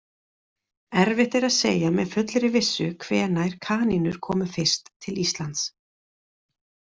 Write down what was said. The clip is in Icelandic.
Erfitt er að segja með fullri vissu hvenær kanínur komu fyrst til Íslands.